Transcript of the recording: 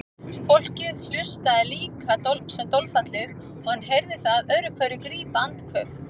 Fólkið hlustaði líka sem dolfallið og hann heyrði það öðru hverju grípa andköf.